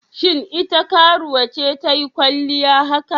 Shin ita karuwa ce ta yi kwalliya haka?